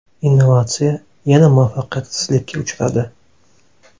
Innovatsiya yana muvaffaqiyatsizlikka uchradi.